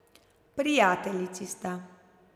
Prijateljici sta.